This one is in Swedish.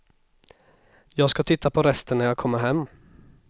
Jag ska titta på resten när jag kommer hem.